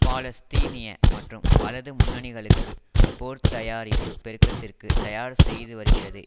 பாலஸ்தீனிய மற்றும் வலது முன்னணிகளுக்கு போர்த்தயாரிப்பு பெருக்கத்திற்கு தயார் செய்துவருகிறது